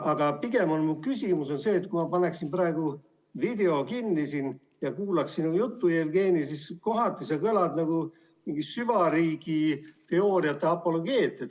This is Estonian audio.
Aga pigem on mu küsimus see, et kui ma paneksin praegu video kinni ja kuulaksin sinu juttu, Jevgeni, siis kohati sa kõlad nagu mingi süvariigiteooriate apologeet.